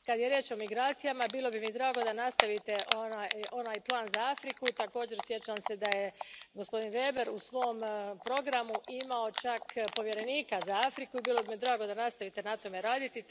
Kada je riječ o migracijama, bilo bi mi drago da nastavite onaj plan za Afriku, također, sjećam se da je gospodin Weber u svom programu imao čak povjerenika za Afriku i bilo bi mi drago da nastavite na tome raditi.